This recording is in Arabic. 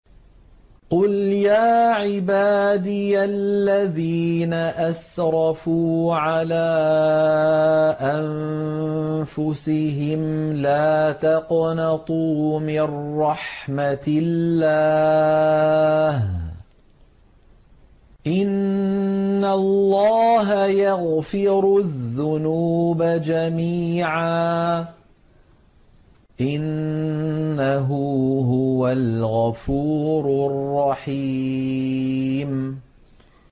۞ قُلْ يَا عِبَادِيَ الَّذِينَ أَسْرَفُوا عَلَىٰ أَنفُسِهِمْ لَا تَقْنَطُوا مِن رَّحْمَةِ اللَّهِ ۚ إِنَّ اللَّهَ يَغْفِرُ الذُّنُوبَ جَمِيعًا ۚ إِنَّهُ هُوَ الْغَفُورُ الرَّحِيمُ